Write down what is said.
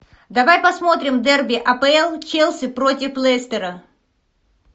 давай посмотрим дерби апл челси против лестера